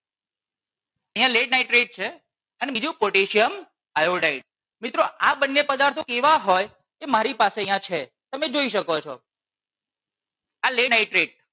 અહિયાં lead nitrate છે અને બીજું potassium iodide મિત્રો આ બંને પદાર્થો એવા હોય તે મારી પાસે અહિયાં છે તમે જોઈ શકો છો આ potassium iodide